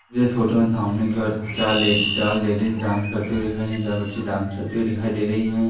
इस फोटो में सामने की ओर चार लेडी चार लेडिज डांस करते हुए दिखाई दे रही है। चार बच्चे डांस करते हुए दिखाई दे रही हैं।